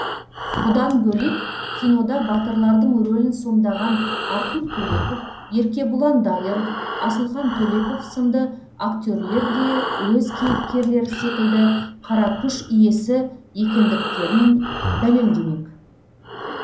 бұдан бөлек кинода батырлардың рөлін сомдаған артур төлепов еркебұлан дайыров асылхан төлепов сынды актерлер де өз кейіпкерлері секілді қара күш иесі екендіктерін дәлелдемек